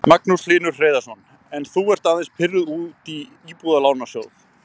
Magnús Hlynur Hreiðarsson: En þú ert aðeins pirruð út í Íbúðalánasjóð?